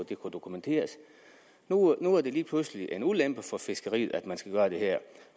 dokumenteres nu er det lige pludselig en ulempe for fiskeriet at man skal gøre det her